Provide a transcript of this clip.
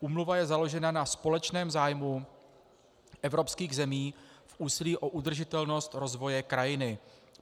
Úmluva je založena na společném zájmu evropských zemí v úsilí o udržitelnost rozvoje krajiny.